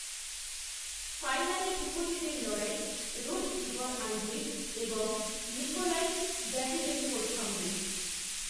ফাইনালে ভূপতিদের লড়াই রুশ ইভর আন্দ্রিভ এবং নিকোলাই ডাভিডেঙ্কোর সঙ্গে